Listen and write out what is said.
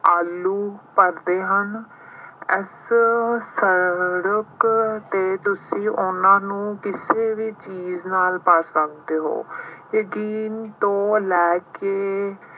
ਆਲੂ ਭਰਦੇ ਹਨ। ਇਸ ਸੜਕ ਤੇ ਤੁਸੀਂ ਉਹਨਾ ਨੂੰ ਕਿਸੇ ਵੀ ਚੀਜ਼ ਨਾਲ ਪਾ ਸਕਦੇ ਹੋ। ਇਹ ਦਿਨ ਤੋਂ ਲੈ ਕੇ